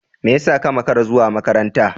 Me yasa ka makara zuwa makaranta?